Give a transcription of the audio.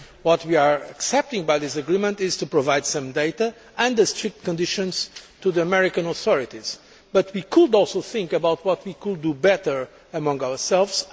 What we are accepting by this agreement is to provide some data, subject to strict conditions, to the American authorities, but we could also think about what we could do better among ourselves.